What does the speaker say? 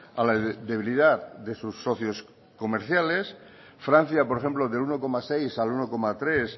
a la debilidad de sus socios comerciales francia por ejemplo del uno coma seis al uno coma tres